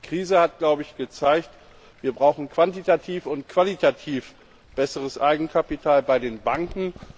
Die Krise hat gezeigt, wir brauchen quantitativ und qualitativ besseres Eigenkapital bei den Banken.